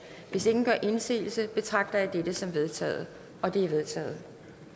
hvis ingen gør indsigelse betragter jeg dette som vedtaget det er vedtaget